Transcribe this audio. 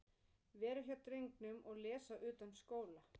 Vera hjá drengnum og lesa utanskóla.